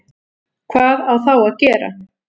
Hvað á þá að gera?